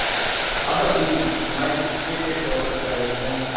अब अपनी नुमाइश फ़क़ीर के तौर पर कर रहे हैं